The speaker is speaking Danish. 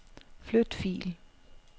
Flyt fil.